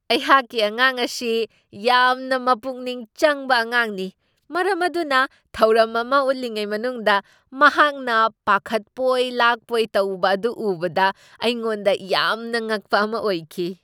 ꯑꯩꯍꯥꯛꯀꯤ ꯑꯉꯥꯡ ꯑꯁꯤ ꯌꯥꯝꯅ ꯃꯄꯨꯛꯅꯤꯡ ꯆꯪꯕ ꯑꯉꯥꯡꯅꯤ, ꯃꯔꯝ ꯑꯗꯨꯅ ꯊꯧꯔꯝ ꯑꯃ ꯎꯠꯂꯤꯉꯩ ꯃꯅꯨꯡꯗ ꯃꯍꯥꯛꯅ ꯄꯥꯈꯠꯄꯣꯏ ꯂꯥꯛꯄꯣꯏ ꯇꯧꯕ ꯑꯗꯨ ꯎꯕꯗ ꯑꯩꯉꯣꯟꯗ ꯌꯥꯝꯅ ꯉꯛꯄ ꯑꯃ ꯑꯣꯏꯈꯤ ꯫